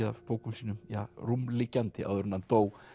af bókum sínum rúmliggjandi áður en hann dó